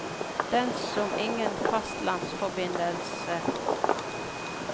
Den har ingen fastlandsforbindelse, og de få som bor her ute er dermed svært isolerte.